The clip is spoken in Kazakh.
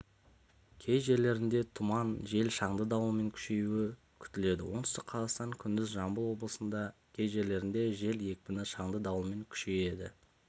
кей жерлерінде тұман жел шаңды дауылмен күшеюі күтіледі оңтүстік қазақстан күндіз жамбыл облыстарының кей жерлерінде жел екпіні шаңды дауылмен күшейеді